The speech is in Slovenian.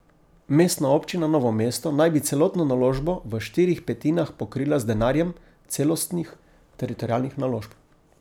Mestna občina Novo mesto naj bi celotno naložbo v štirih petinah pokrila z denarjem celostnih teritorialnih naložb.